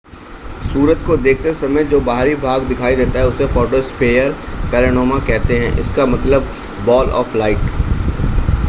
सूरज को देखते समय जो बाहरी भाग दिखाई देता है उसे फ़ोटोस्फ़ीयर पैनोरामा कहते हैं. इसका मतलब है बॉल ऑफ लाइट